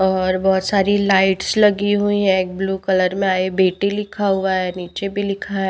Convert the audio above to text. और बहुत सारी लाइट्स लगी हुई है एक ब्लू कलर में आए बेटी लिखा हुआ है नीचे भी लिखा है।